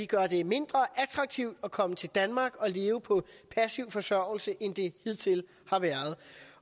gøre det mindre attraktivt at komme til danmark og leve på passiv forsørgelse end det hidtil har været